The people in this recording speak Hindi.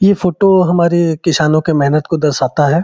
ये फोटो हमारे किसानों के मेहनत को दर्शाता हैं।